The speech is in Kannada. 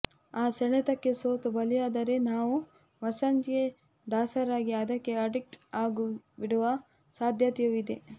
ಆ ಸೆಳೆತಕ್ಕೆ ಸೋತು ಬಲಿಯಾದರೆ ನಾವು ಮಸಾಜ್ಗೆ ದಾಸರಾಗಿ ಅದಕ್ಕೆ ಅಡಿಕ್ಟ್ ಆಗಿಬಿಡುವ ಸಾಧ್ಯತೆಯೂ ಇದೆ